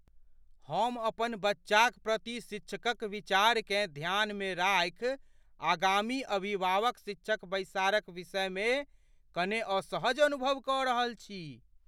हम अपन बच्चाक प्रति शिक्षकक विचारकेँ ध्यानमे राखि आगामी अभिभावक शिक्षक बैसारक विषयमे कने असहज अनुभव कऽ रहल छी।